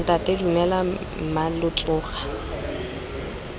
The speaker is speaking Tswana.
ntata dumela mma lo tsoga